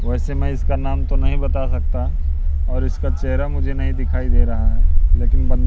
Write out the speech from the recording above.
वैसे मैं इसका नाम तो नहीं बता सकता और इसका चेहरा मुझे नहीं दिखाई दे रहा है लेकिन बं--